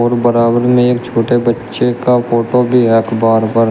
बराबर में एक छोटे बच्चे का फोटो भी है अखबार पर।